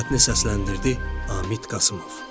Mətni səsləndirdi Amid Qasımov.